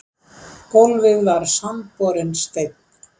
Gólfið var sandborinn steinn.